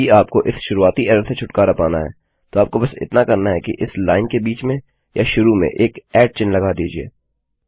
यदि आपको इस शुरुआती एरर से छुटकारा पाना है तो आपको बस इतना करना है कि इस लाइन के बीच में या शुरू में एक ऐट चिह्न लगा दीजिये